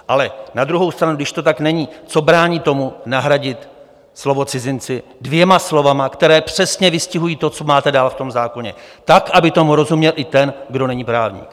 Ale na druhou stranu, když to tak není, co brání tomu nahradit slovo "cizinci" dvěma slovy, která přesně vystihují to, co máte dál v tom zákoně, tak, aby tomu rozuměl i ten, kdo není právník?